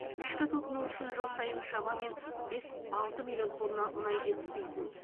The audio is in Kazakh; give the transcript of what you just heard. ішкі тұтыну үшін жыл сайын шамамен бес алты миллион тонна мұнай жетіспейтін